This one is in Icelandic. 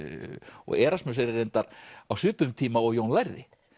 og Erasmus er reyndar á svipuðum tíma og Jón lærði